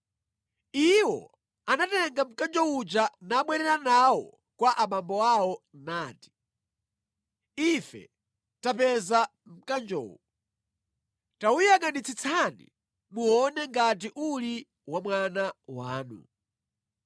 Iwo anatenga mkanjo uja nabwerera nawo kwa abambo awo nati, “Ife tapeza mkanjowu. Tawuyangʼanitsitsani muone ngati uli wa mwana wanu.”